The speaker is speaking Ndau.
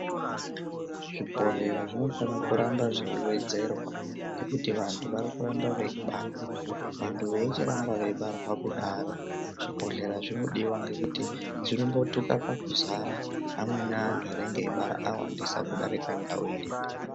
Zvibhodhlera zvonofanire kuramba zveiwedzerwa ngekuti vanthu varikuramba veibarwa vanthu veichiramba zveizara kudaro zvibhodhlera zvinodiwa ngekuti zvinombothuka pakuzara amweni anthu anenge eibara awandisa kudarika ndau iripo.